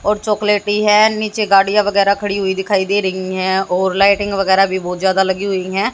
और चॉकलेटी है नीचे गाड़ियां वगैरा खड़ी हुई दिखाई दे रही है और लाइटिंग वगैरा भी बहुत ज्यादा लगी हुई है।